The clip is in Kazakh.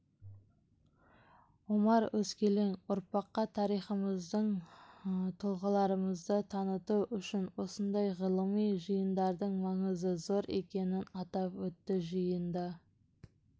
омар өскелең ұрпаққа тарихымызды тұлғаларымызды таныту үшін осындайғылыми жиындардың маңызы зор екенін атап өтті жиында